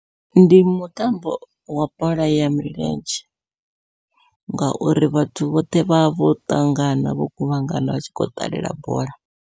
Ndi mutambo wa bola ya milenzhe, ngauri vhathu vhoṱhe vha vho ṱangana vho kuvhangana vha tshi kho ṱalela bola.